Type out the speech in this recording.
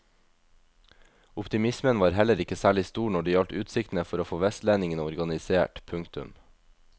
Optimismen var heller ikke særlig stor når det gjaldt utsiktene for å få vestlendingene organisert. punktum